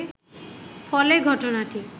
ফলে ঘটনাটি